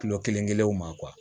Kilo kelen kelenw ma